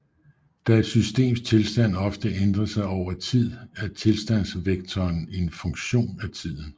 Da et systems tilstand ofte ændrer sig over tid er tilstandsvektoren en funktion af tiden